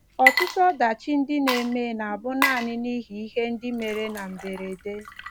Ọtụtụ ọdachi ndị na - eme na - abụ nanị n'ihi ihe ndị mere na mberede.